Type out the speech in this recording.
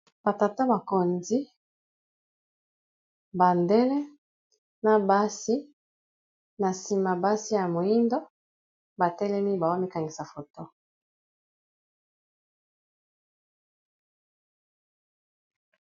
batata bakonzi bandele na basi na nsima basi ya moindo batelemi bawamikangisa foto